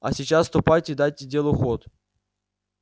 а сейчас ступайте и дайте делу ход